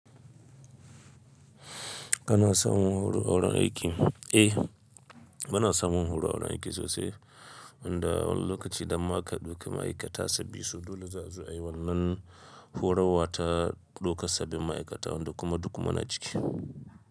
Kana samun horo a wurin aiki? Eh, muna samun horo a wurin aiki sosai. Wanda wani lokaci da ma ka ɗauki ma'aikata sabbi su dole za su a yi wannan horarwa ta ɗaukar sabbin ma'aikata wanda kuma duk mu na ciki.